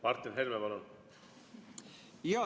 Martin Helme, palun!